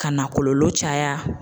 Ka na kɔlɔlɔ caya.